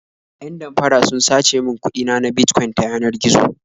Yan damfara sun sace min kuɗi na na Bitcoin ta yanar gizo.